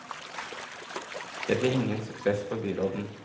Det ble ingen suksess for byråden.